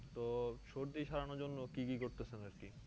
তো সর্দি সরানোর জন্য কি কি করতেছেন আর কি?